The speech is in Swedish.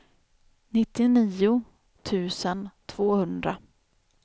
nittionio tusen tvåhundra